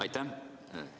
Aitäh!